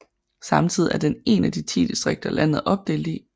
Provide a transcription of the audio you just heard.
Samtidig er den én af de 10 distrikter landet er opdelt i